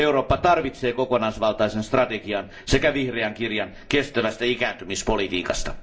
Eurooppa tarvitsee kokonaisvaltaisen strategian sekä vihreän kirjan kestävästä ikääntymispolitiikasta.